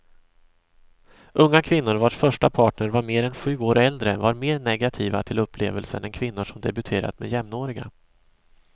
Unga kvinnor vars första partner var mer än sju år äldre var mer negativa till upplevelsen än kvinnor som debuterat med jämnåriga.